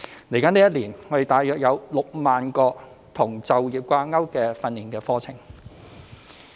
未來一年，我們大約有6萬個與就業掛鈎的訓練課程名額。